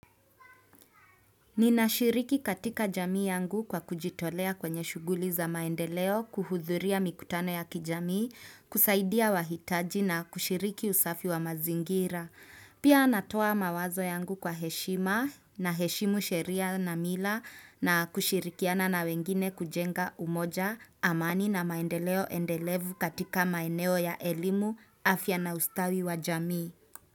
Ninashiriki katika jamii yangu kwa kujitolea kwenye shughuli za maendeleo kuhudhuria mikutano ya kijamii, kusaidia wahitaji na kushiriki usafi wa mazingira. Pia natoa mawazo yangu kwa heshima na heshimu sheria na mila na kushirikiana na wengine kujenga umoja amani na maendeleo endelevu katika maeneo ya elimu afya na ustawi wa jamii.